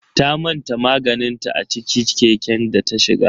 Ta manta maganinta a ciki keken data shiga.